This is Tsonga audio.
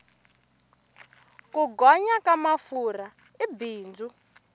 ku gonya ka mafurha i bindzu